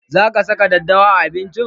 Za ka saka daddawa a abincin!